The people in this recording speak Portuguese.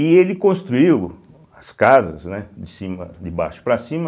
E ele construiu as casas, né, de cima de baixo para cima,